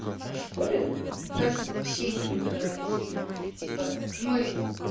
а в школе у нас вообще не преподавали химию типа мы